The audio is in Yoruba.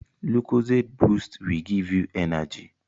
Lucozade boost will give you energy